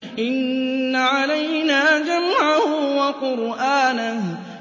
إِنَّ عَلَيْنَا جَمْعَهُ وَقُرْآنَهُ